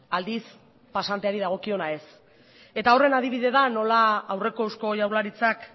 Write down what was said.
aldiz pasanteari dagokiona ez eta horren adibide da nola aurreko eusko jaurlaritzak